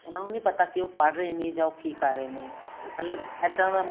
ਉਹਨਾ ਨੀ ਪਤਾ ਕੀ ਉਹ ਪੜ੍ਹ ਰਹੇ ਨੇ ਯਾ ਕੀ ਕਰ ਰਹੇ ਨੇ